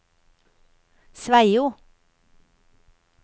Sveio